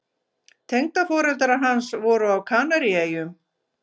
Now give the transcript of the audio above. Tengdaforeldrar hans voru á Kanaríeyjum.